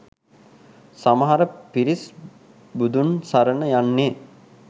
සමහර පිරිස් බුදුන් සරණ යන්නේ.